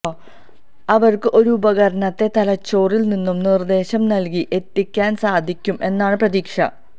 അവര്ക്ക് ഒരു ഉപകരണത്തെ തലച്ചോറില് നിന്നും നിര്ദേശം നല്കി എത്തിക്കാന് സാധിക്കും എന്നാണ് പ്രതീക്ഷ